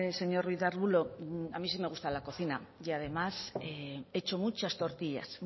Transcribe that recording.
señor ruiz de arbulo a mí sí me gusta la cocina y además he hecho muchas tortillas